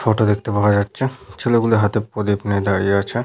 Photo দেখতে পাওয়া যাচ্ছে ছেলেগুলো হাতে প্রদীপ নিয়ে দাঁড়িয়ে আছে ।